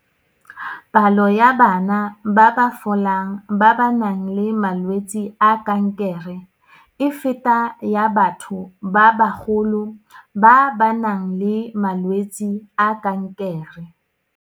Palo ya bana ba ba folang ba ba nang le malwetse a kankere e feta ya batho ba bagolo ba ba nang le malwetse a kankere.